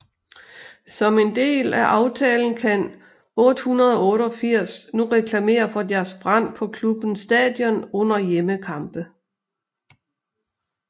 Som en del af aftalen kan 888 nu reklamere for deres brand på klubbens stadion under hjemmekampe